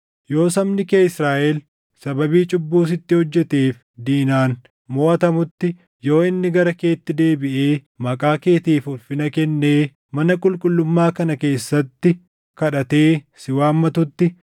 “Yoo sabni kee Israaʼel sababii cubbuu sitti hojjeteef diinaan moʼatamutti, yoo inni gara keetti deebiʼee maqaa keetiif ulfina kennee mana qulqullummaa kana keessatti kadhatee si waammatutti,